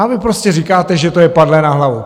A vy prostě říkáte, že to je padlé na hlavu.